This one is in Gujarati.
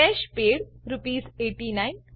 cache paid આરએસ89